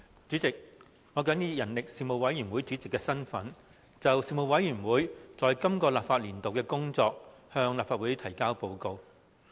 主席，我謹以人力事務委員會主席的身份，就事務委員會本立法年度的工作，向立法會提交報告。